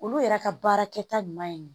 Olu yɛrɛ ka baarakɛta ɲuman ye